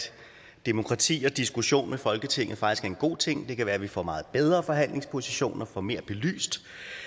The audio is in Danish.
demokrati og diskussion med folketinget faktisk er en god ting det kan være vi får meget bedre forhandlingspositioner får mere belyst